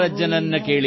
ಹೇಗಿದೆ ಈ ಪುಟ್ಟ ಬಟ್ಟಲು